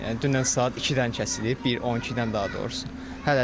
Yəni dünən saat ikidən kəsilib, bir 12-dən daha doğrusu.